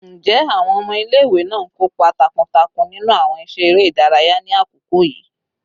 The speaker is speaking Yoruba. Njẹ awọn ọmọ ile-iwe naa n kopa takuntakun ninu awọn iṣẹ ere idaraya ni akoko yii?